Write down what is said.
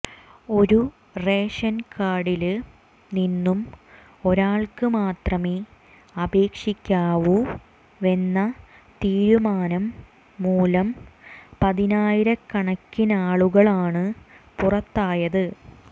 ഒരു റേഷന് കാര്ഡില് നിന്നും ഒരാള്ക്ക് മാത്രമേ അപേക്ഷിക്കാവൂവെന്ന തീരുമാനം മൂലം പതിനായിരക്കണക്കിനാളുകളാണ് പുറത്തായത്